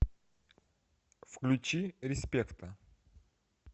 включи респекта